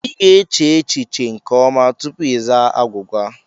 I ga-eche echiche nke ọma tupu izaa agwụgwa.